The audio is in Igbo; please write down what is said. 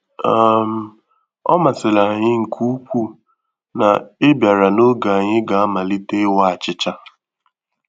um Ọ masịrị anyị nke ukwuu na i bịara n’oge ànyị ga-amalite ịwa achịcha